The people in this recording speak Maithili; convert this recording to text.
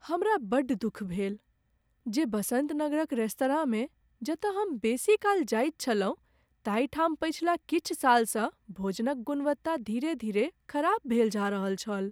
हमरा बड्ड दुख भेल जे बसन्त नगरक रेस्तराँमे, जतय हम बेसी काल जाइत छलहुँ, ताहि ठाम पछिला किछु सालसँ भोजनक गुणवत्ता, धीरे धीरे खराब भेल जा रहल छल।